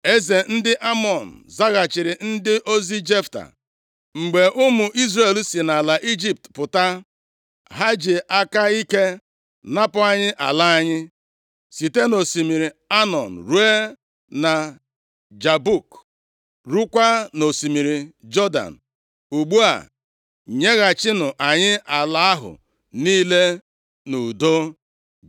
Eze ndị Amọn zaghachiri ndị ozi Jefta, “Mgbe ụmụ Izrel si nʼala Ijipt pụta, ha ji aka ike napụ anyị ala anyị, site nʼosimiri Anọn ruo na Jabọk, rukwaa nʼosimiri Jọdan. Ugbu a nyeghachinụ anyị ala ahụ niile nʼudo.”